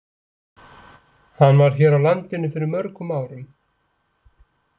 Hann var hér á landinu fyrir mörgum árum.